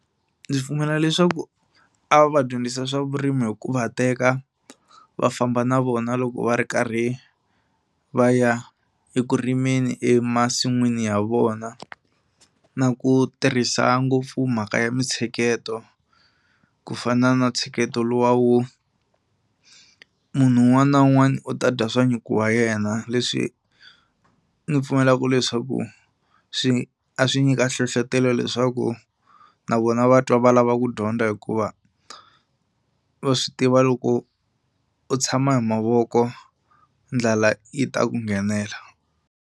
Ndzi pfumela leswaku a va va dyondzisa swa vurimi hi ku va teka va famba na vona loko va ri karhi va ya eku rimeni emasin'wini ya vona na ku tirhisa ngopfu mhaka ya mitsheketo ku fana na ntsheketo luwa wo munhu un'wana na un'wana u ta dya swa nyuku wa yena. Leswi ni pfumelaku leswaku swi a swi nyika nhlohlotelo leswaku na vona va twa va lava ku dyondza hikuva va swi tiva loko u tshama hi mavoko ndlala yi ta ku nghenela.